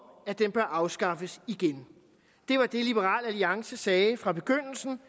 at den bør afskaffes igen det var det liberal alliance sagde fra begyndelsen